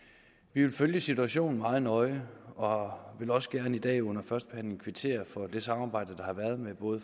vi vil følge situationen meget nøje og vil også gerne i dag under førstebehandlingen kvittere for det samarbejde der har været med både